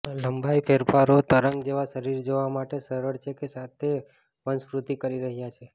લંબાઈ ફેરફારો તરંગ જેવા શરીર જોવા માટે સરળ છે કે સાથે વંશવૃદ્ધિ કરી રહ્યા છે